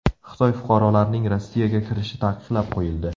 Xitoy fuqarolarining Rossiyaga kirishi taqiqlab qo‘yildi.